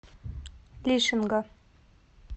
лишинга